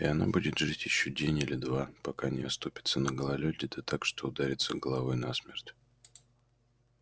и она будет жить ещё день или два пока не оступится на гололёде да так что ударится головой насмерть